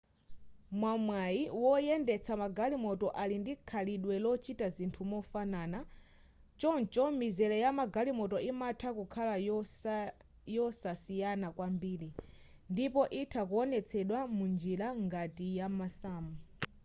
mwamwayi woyendetsa magalimoto ali ndi khalidwe lochita zinthu mofanana choncho mizere ya magalimoto imatha kukhala yosasiyana kwambiri ndipo itha kuonetsedwa munjira ngati ya masamu